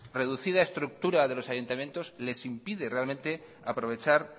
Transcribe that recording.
reducida estructura de los ayuntamientos les impide realmente aprovechar